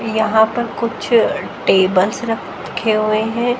यहां पर कुछ टेबल्स रखे हुए हैं।